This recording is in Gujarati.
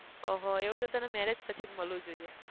ઓહો એવું તો તને marriage પછી જ મલવું જોઈએ